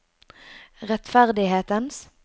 rettferdighetens